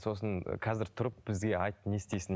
сосын қазір тұрып бізге айт не істейсің